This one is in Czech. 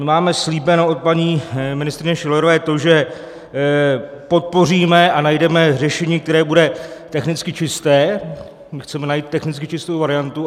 My máme slíbeno od paní ministryně Schillerové to, že podpoříme a najdeme řešení, které bude technicky čisté, my chceme najít technicky čistou variantu.